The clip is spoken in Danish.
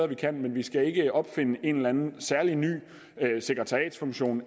vi kan men vi skal ikke opfinde en eller anden særlig ny sekretariatsfunktion